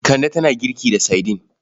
Kande tana girki da saidin.